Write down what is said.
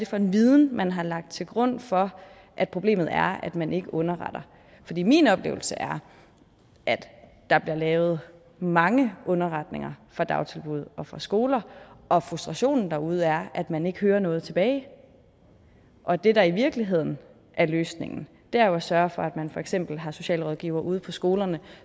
for en viden man har lagt til grund for at problemet er at man ikke underretter min oplevelse er at der bliver lavet mange underretninger fra dagtilbud og fra skoler og frustrationen derude er at man ikke hører noget tilbage og det der i virkeligheden er løsningen er jo at sørge for at man for eksempel har socialrådgivere ude på skolerne